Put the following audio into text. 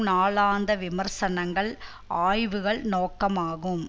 நாளாந்த விமர்சனங்கள் ஆய்வுகள் நோக்கமாகும்